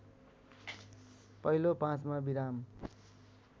पहिलो ५मा विराम